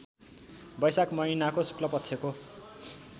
बैशाख महिनाको शुक्लपक्षको